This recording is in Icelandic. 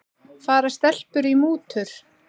Fara stelpur í mútur?